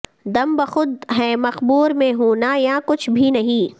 دم بخود ہیں مقبروں میں ہوں نہ یاں کچھ بھی نہیں